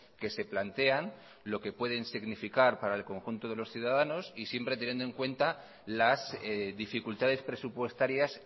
que se plantean lo que pueden significar para el conjunto de los ciudadanos y siempre teniendo en cuenta las dificultades presupuestarias